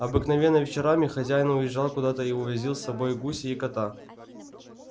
обыкновенно вечерами хозяин уезжал куда-то и увозил с собою гуся и кота